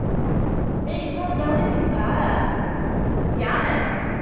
டேய் இன்னொன்னு கவனிச்சீங்களா யானை